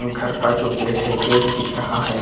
घर का जो गेट है गेट दिख रहा है।